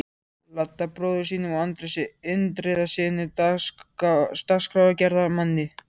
Ladda, bróður sínum, og Andrési Indriðasyni dagskrárgerðarmanni.